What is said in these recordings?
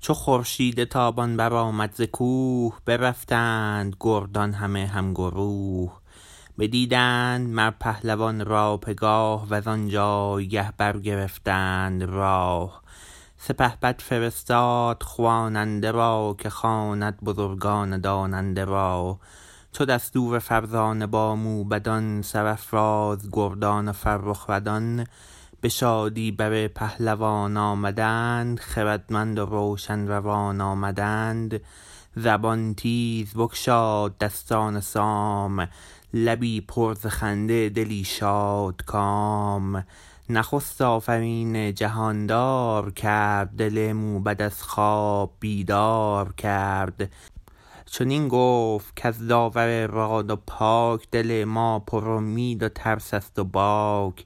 چو خورشید تابان برآمد ز کوه برفتند گردان همه همگروه بدیدند مر پهلوان را پگاه وزان جایگه برگرفتند راه سپهبد فرستاد خواننده را که خواند بزرگان داننده را چو دستور فرزانه با موبدان سرافراز گردان و فرخ ردان به شادی بر پهلوان آمدند خردمند و روشن روان آمدند زبان تیز بگشاد دستان سام لبی پر ز خنده دلی شادکام نخست آفرین جهاندار کرد دل موبد از خواب بیدار کرد چنین گفت کز داور راد و پاک دل ما پر امید و ترس است و باک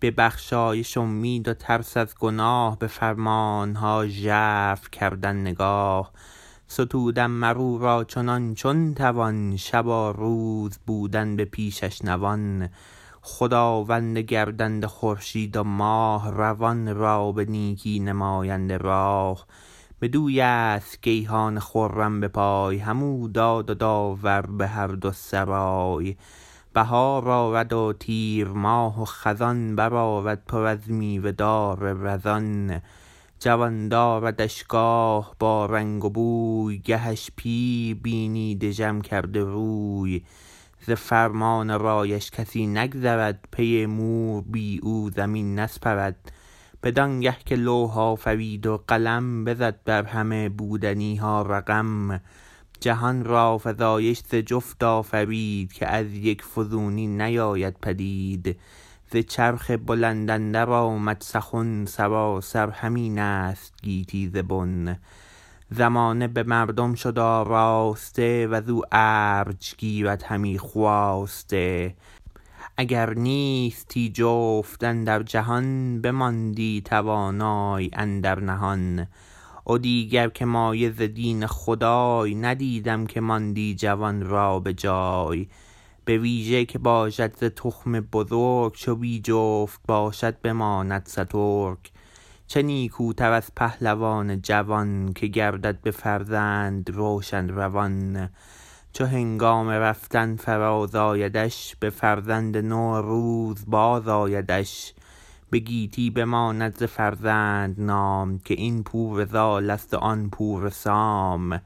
به بخشایش امید و ترس از گناه به فرمانها ژرف کردن نگاه ستودن مراو را چنان چون توان شب و روز بودن به پیشش نوان خداوند گردنده خورشید و ماه روان را به نیکی نماینده راه بدویست گیهان خرم به پای همو داد و داور به هر دو سرای بهار آرد و تیرماه و خزان برآرد پر از میوه دار رزان جوان داردش گاه با رنگ و بوی گهش پیر بینی دژم کرده روی ز فرمان و رایش کسی نگذرد پی مور بی او زمین نسپرد بدانگه که لوح آفرید و قلم بزد بر همه بودنیها رقم جهان را فزایش ز جفت آفرید که از یک فزونی نیاید پدید ز چرخ بلند اندر آمد سخن سراسر همین است گیتی ز بن زمانه به مردم شد آراسته وزو ارج گیرد همی خواسته اگر نیستی جفت اندر جهان بماندی توانای اندر نهان و دیگر که مایه ز دین خدای ندیدم که ماندی جوان را بجای بویژه که باشد ز تخم بزرگ چو بی جفت باشد بماند سترگ چه نیکوتر از پهلوان جوان که گردد به فرزند روشن روان چو هنگام رفتن فراز آیدش به فرزند نو روز بازآیدش به گیتی بماند ز فرزند نام که این پور زالست و آن پور سام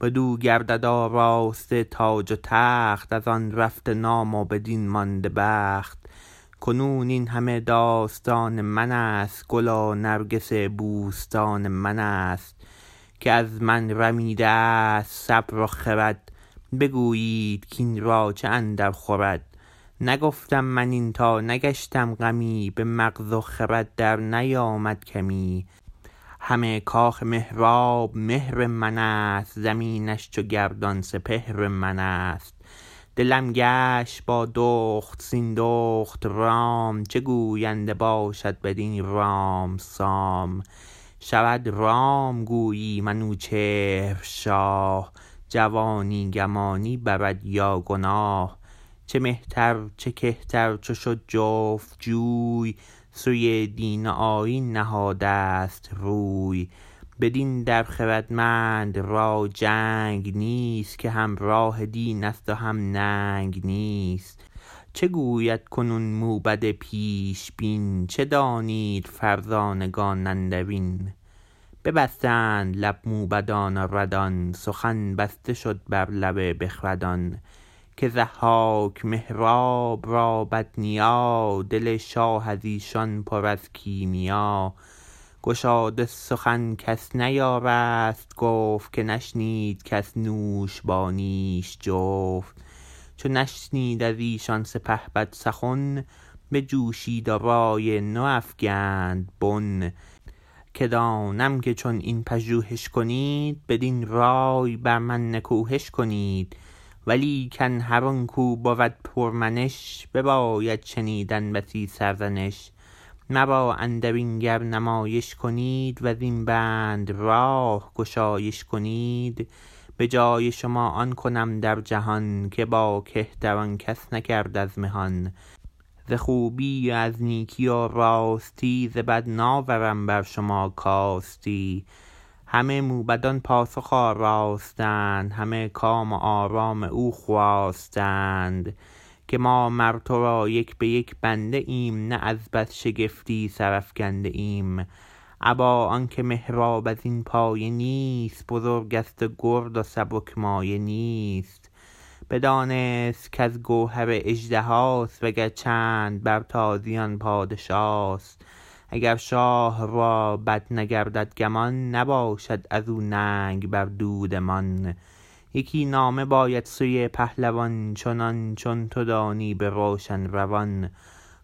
بدو گردد آراسته تاج و تخت ازان رفته نام و بدین مانده بخت کنون این همه داستان منست گل و نرگس بوستان منست که از من رمیدست صبر و خرد بگویید کاین را چه اندر خورد نگفتم من این تا نگشتم غمی به مغز و خرد در نیامد کمی همه کاخ مهراب مهر منست زمینش چو گردان سپهر منست دلم گشت با دخت سیندخت رام چه گوینده باشد بدین رام سام شود رام گویی منوچهر شاه جوانی گمانی برد یا گناه چه مهتر چه کهتر چو شد جفت جوی سوی دین و آیین نهادست روی بدین در خردمند را جنگ نیست که هم راه دینست و هم ننگ نیست چه گوید کنون موبد پیش بین چه دانید فرزانگان اندرین ببستند لب موبدان و ردان سخن بسته شد بر لب بخردان که ضحاک مهراب را بد نیا دل شاه ازیشان پر از کیمیا گشاده سخن کس نیارست گفت که نشنید کس نوش با نیش جفت چو نشنید از ایشان سپهبد سخن بجوشید و رای نو افگند بن که دانم که چون این پژوهش کنید بدین رای بر من نکوهش کنید ولیکن هر آنکو بود پر منش بباید شنیدن بسی سرزنش مرا اندرین گر نمایش کنید وزین بند راه گشایش کنید به جای شما آن کنم در جهان که با کهتران کس نکرد از مهان ز خوبی و از نیکی و راستی ز بد ناورم بر شما کاستی همه موبدان پاسخ آراستند همه کام و آرام او خواستند که ما مر ترا یک به یک بنده ایم نه از بس شگفتی سرافگنده ایم ابا آنکه مهراب ازین پایه نیست بزرگست و گرد و سبک مایه نیست بدانست کز گوهر اژدهاست و گر چند بر تازیان پادشاست اگر شاه رابد نگردد گمان نباشد ازو ننگ بر دودمان یکی نامه باید سوی پهلوان چنان چون تو دانی به روشن روان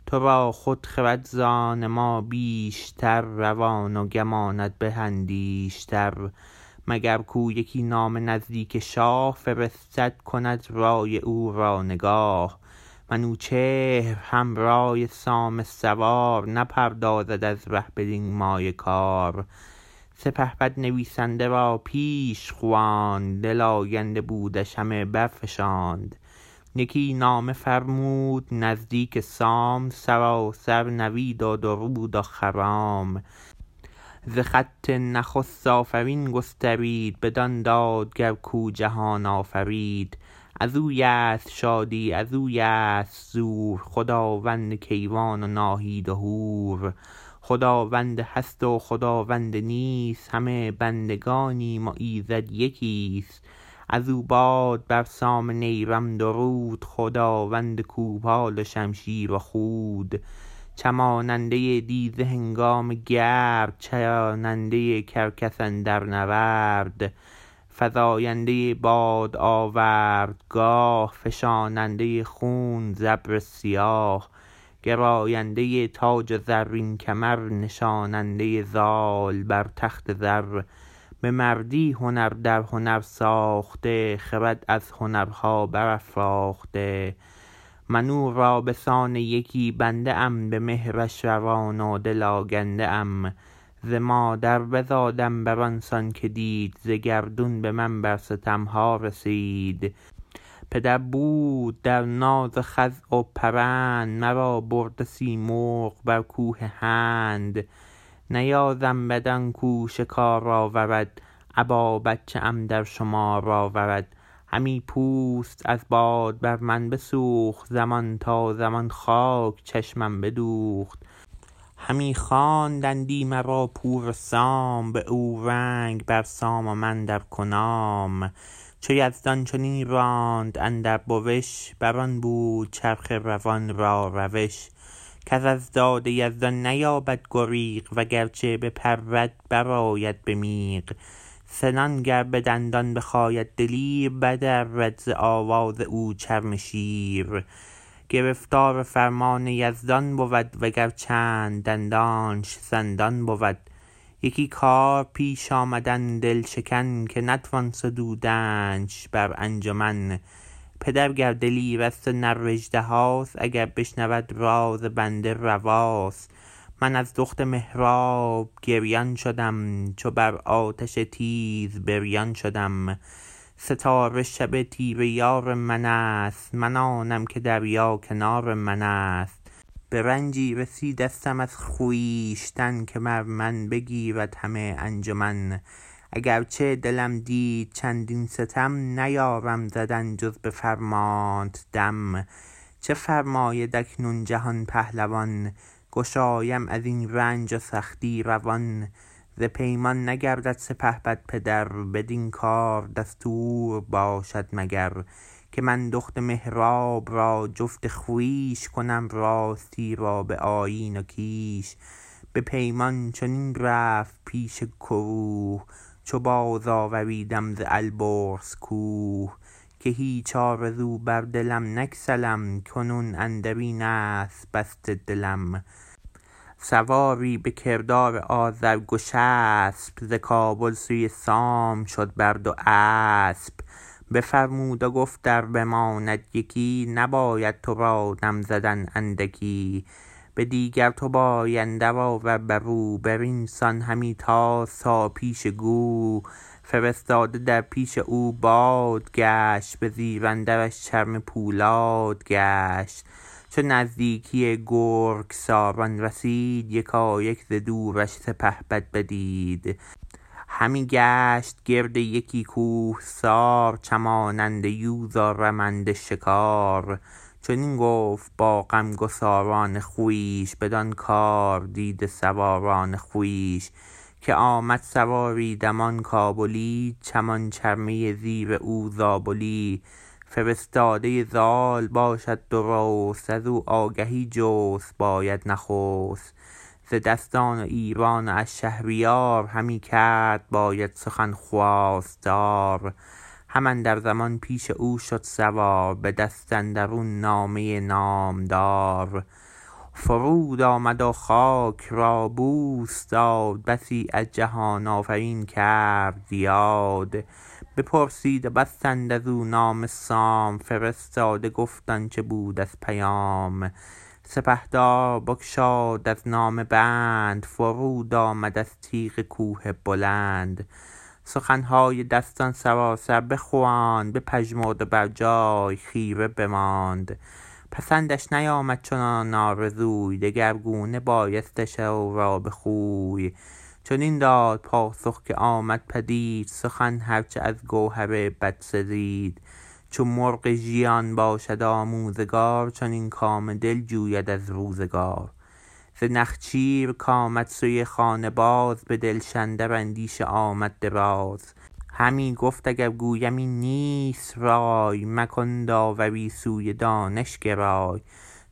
ترا خود خرد زان ما بیشتر روان و گمانت به اندیشتر مگر کو یکی نامه نزدیک شاه فرستد کند رای او را نگاه منوچهر هم رای سام سوار نپردازد از ره بدین مایه کار سپهبد نویسنده را پیش خواند دل آگنده بودش همه برفشاند یکی نامه فرمود نزدیک سام سراسر نوید و درود و خرام ز خط نخست آفرین گسترید بدان دادگر کو جهان آفرید ازویست شادی ازویست زور خداوند کیوان و ناهید و هور خداوند هست و خداوند نیست همه بندگانیم و ایزد یکیست ازو باد بر سام نیرم درود خداوند کوپال و شمشیر و خود چماننده دیزه هنگام گرد چراننده کرگس اندر نبرد فزاینده باد آوردگاه فشاننده خون ز ابر سیاه گراینده تاج و زرین کمر نشاننده زال بر تخت زر به مردی هنر در هنر ساخته خرد از هنرها برافراخته من او را بسان یکی بنده ام به مهرش روان و دل آگنده ام ز مادر بزادم بران سان که دید ز گردون به من بر ستمها رسید پدر بود در ناز و خز و پرند مرا برده سیمرغ بر کوه هند نیازم بد آنکو شکار آورد ابا بچه ام در شمار آورد همی پوست از باد بر من بسوخت زمان تا زمان خاک چشمم بدوخت همی خواندندی مرا پور سام به اورنگ بر سام و من در کنام چو یزدان چنین راند اندر بوش بران بود چرخ روان را روش کس از داد یزدان نیابد گریغ وگرچه بپرد برآید به میغ سنان گر بدندان بخاید دلیر بدرد ز آواز او چرم شیر گرفتار فرمان یزدان بود وگر چند دندانش سندان بود یکی کار پیش آمدم دل شکن که نتوان ستودنش بر انجمن پدر گر دلیرست و نراژدهاست اگر بشنود راز بنده رواست من از دخت مهراب گریان شدم چو بر آتش تیز بریان شدم ستاره شب تیره یار منست من آنم که دریا کنار منست به رنجی رسیدستم از خویشتن که بر من بگرید همه انجمن اگرچه دلم دید چندین ستم نیارم زدن جز به فرمانت دم چه فرماید اکنون جهان پهلوان گشایم ازین رنج و سختی روان ز پیمان نگردد سپهبد پدر بدین کار دستور باشد مگر که من دخت مهراب را جفت خویش کنم راستی را به آیین و کیش به پیمان چنین رفت پیش گروه چو باز آوریدم ز البرز کوه که هیچ آرزو بر دلت نگسلم کنون اندرین است بسته دلم سواری به کردار آذر گشسپ ز کابل سوی سام شد بر دو اسپ بفرمود و گفت ار بماند یکی نباید ترا دم زدن اندکی به دیگر تو پای اندر آور برو برین سان همی تاز تا پیش گو فرستاده در پیش او باد گشت به زیر اندرش چرمه پولاد گشت چو نزدیکی گرگساران رسید یکایک ز دورش سپهبد بدید همی گشت گرد یکی کوهسار چماننده یوز و رمنده شکار چنین گفت با غمگساران خویش بدان کار دیده سواران خویش که آمد سواری دمان کابلی چمان چرمه زیر او زابلی فرستاده زال باشد درست ازو آگهی جست باید نخست ز دستان و ایران و از شهریار همی کرد باید سخن خواستار هم اندر زمان پیش او شد سوار به دست اندرون نامه نامدار فرود آمد و خاک را بوس داد بسی از جهان آفرین کرد یاد بپرسید و بستد ازو نامه سام فرستاده گفت آنچه بود از پیام سپهدار بگشاد از نامه بند فرود آمد از تیغ کوه بلند سخنهای دستان سراسر بخواند بپژمرد و بر جای خیره بماند پسندش نیامد چنان آرزوی دگرگونه بایستش او را به خوی چنین داد پاسخ که آمد پدید سخن هر چه از گوهر بد سزید چو مرغ ژیان باشد آموزگار چنین کام دل جوید از روزگار ز نخچیر کامد سوی خانه باز به دلش اندر اندیشه آمد دراز همی گفت اگر گویم این نیست رای مکن داوری سوی دانش گرای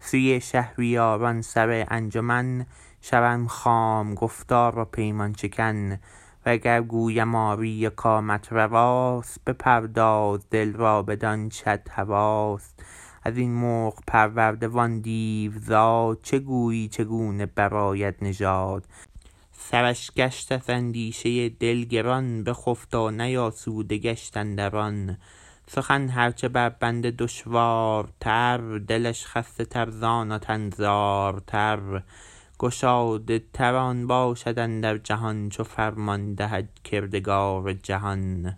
سوی شهریاران سر انجمن شوم خام گفتار و پیمان شکن و گر گویم آری و کامت رواست بپرداز دل را بدانچت هواست ازین مرغ پرورده وان دیوزاد چه گویی چگونه برآید نژاد سرش گشت از اندیشه دل گران بخفت و نیاسوده گشت اندران سخن هر چه بر بنده دشوارتر دلش خسته تر زان و تن زارتر گشاده تر آن باشد اندر نهان چو فرمان دهد کردگار جهان